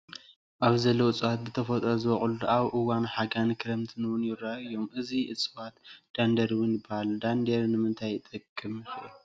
ኣብዚ ዘለው እፅዋት ብተፈጥሮ ዝበቁልን ኣብ እዋን ሓይን ክረምት እንው የረኣዩ እዮም። እዚ እፅዋት ዳንዴር እውን ይበሃል። ዳንዴር ንምንታይ ጠቅም ይክእል ?